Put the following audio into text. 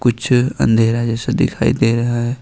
पीछे अंधेरा जैसा दिखाई दे रहा है।